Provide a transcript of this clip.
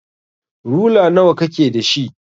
Rula nawa kake da shi?